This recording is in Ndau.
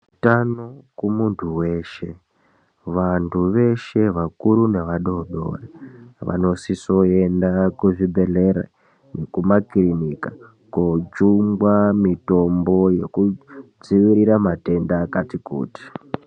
Utano kumuntu weshe, vantu veshe vakuru nevadoodori vanosise kuenda kuzvibhedhlera nekumakirinika kojungwa mitombo yoo kudzivirira matenda akati kuti.